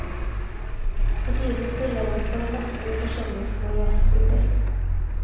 For tiden spiller han for det meste i forskjellige små jazzklubber.